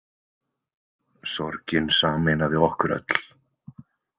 Sorgin sameinaði okkur öll.